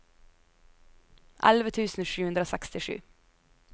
elleve tusen sju hundre og sekstisju